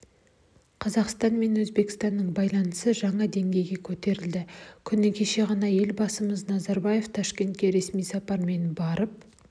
қазақстан мен өзбекстанның байланысы жаңа деңгейге көтерілді күні кеше ғана елбасымыз назарбаев ташкентке ресми сапармен барып